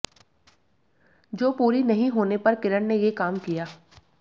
जो पूरी नहीं होने पर किरण ने ये काम किया